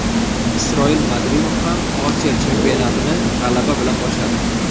Isroil Madrimov ham Osiyo chempionatini g‘alaba bilan boshladi .